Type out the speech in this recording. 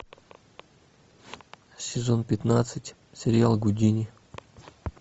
сезон пятнадцать сериал гудини